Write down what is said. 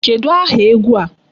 Kedụ aha egwu a?